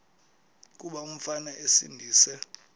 kuba umfana esindise